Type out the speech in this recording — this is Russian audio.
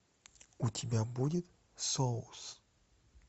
у тебя будет соус